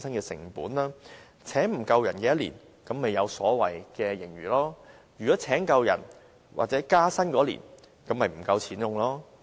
如果未能聘請足夠人手，該年度便有所謂的盈餘；如能聘請足夠人手或員工獲得加薪，該年度便不夠錢用。